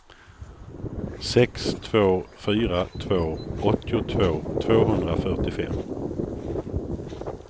sex två fyra två åttiotvå tvåhundrafyrtiofem